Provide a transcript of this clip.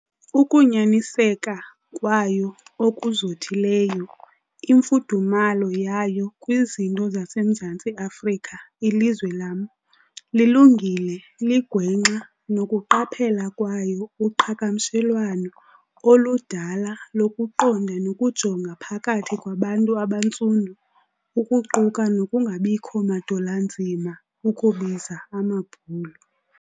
Ukunyaniseka kwayo okuzothileyo, imfudumalo yayo kwizinto zaseMzantsi Afrika - ilizwe lam, lilungile ligwenxa - nokuqaphela kwayo uqhagamishelwano oludala lokuqonda nokujonga phakathi kwabantu abaNtsundu kuquka nokungabikho madol' anzima ukubiza "AmaBhulu".